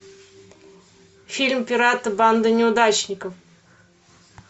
фильм пираты банда неудачников